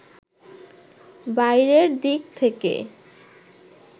বাইরের দিক থেকে